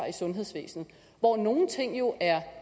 i sundhedsvæsenet hvor nogle ting jo er